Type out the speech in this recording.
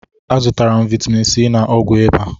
Azụtara m vitamin c na ọgwụ ịba